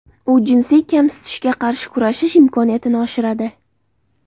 U jinsiy kamsitishga qarshi kurashish imkoniyatini oshiradi.